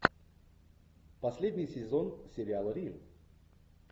последний сезон сериала рим